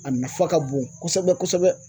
A nafa ka bon kosɛbɛ kosɛbɛ.